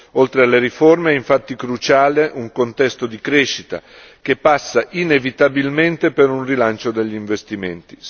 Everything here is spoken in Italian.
Oltre alle riforme infatti è cruciale un contesto di crescita, che passa inevitabilmente per un rilancio degli investimenti.